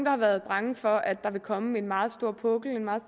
har været bange for at der vil komme en meget stor pukkel en meget